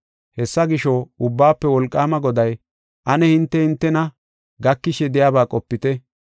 Hessa gisho, Ubbaafe Wolqaama Goday, “Ane hinte hintena gakishe de7iyaba qopite.